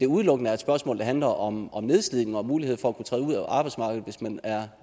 udelukkende er et spørgsmål der handler om nedslidning og muligheden for at kunne træde ud af arbejdsmarkedet hvis man er